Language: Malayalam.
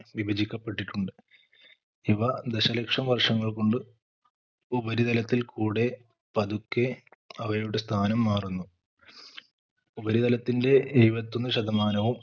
വിഭജിക്കപ്പെട്ടിട്ടുണ്ട് ഇവ ദശലക്ഷം വർഷങ്ങൾ കൊണ്ട് ഉപരിതലത്തിൽ കൂടെ പതുക്കെ അവയുടെ സ്ഥാനം മാറുന്നു ഉപരിതലത്തിന്റെ എഴുപത്തൊന്ന് ശതമാനവും